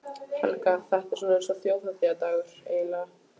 Helga: Þetta er svona eins og þjóðhátíðardagur, eiginlega?